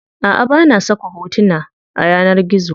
Aʼa bana saka hotona a yanar gizo.